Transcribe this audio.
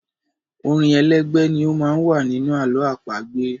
Orin elégbè ni ó má ń wà nínú àlọ́ àpagbè.